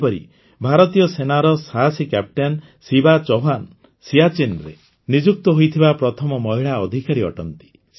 ସେହିପରି ଭାରତୀୟ ସେନାର ସାହସୀ କ୍ୟାପଟେନ୍ ଶିବା ଚୌହାନ୍ ସିଆଚିନ୍ରେ ନିଯୁକ୍ତ ହୋଇଥିବା ପ୍ରଥମ ମହିଳା ଅଧିକାରୀ ଅଟନ୍ତି